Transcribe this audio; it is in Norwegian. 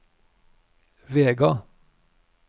Vega